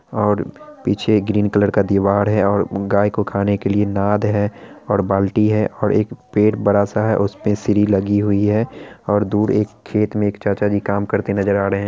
और पीछे green colour का दीवार है और गाय के खाने को लिए नाद है और बाल्टी है और एक पेड़ बड़ा-सा है उसपे सीढ़ी लगी हुई है और दूर एक खेत में चाचा जी काम करते नजर आ रहे हैं|